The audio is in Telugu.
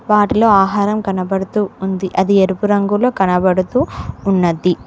వాటిలో ఆహారం కనబడుతూ ఉంది అది ఎరుపు రంగులో కనబడుతూ ఉన్నది.